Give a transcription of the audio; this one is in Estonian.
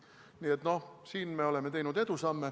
Nii et siin me oleme teinud edusamme.